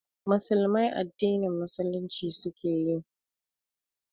Musulmai addinin Musulunci suke yi